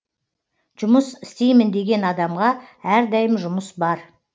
жұмыс істеймін деген адамға әрдайым жұмыс бар